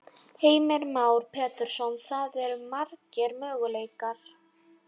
Heimir Már Pétursson: Það eru margir möguleikar?